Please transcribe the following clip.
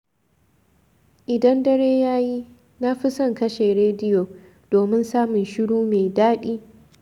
Idan dare ya yi, na fi son kashe rediyo, domin samun shiru mai daɗi.